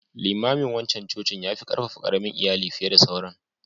Limamin wancan cocin yafu ƙarfafa ƙaramin Iyali fiye da sauran.